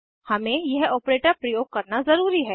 हमे यह ऑपरेटर प्रयोग करना ज़रूरी है